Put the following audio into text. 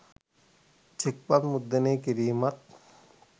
චෙක්පත් මුද්‍රණය කිරීමත්